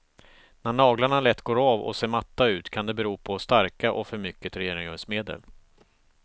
När naglarna lätt går av och ser matta ut, kan det bero på starka och för mycket rengöringsmedel.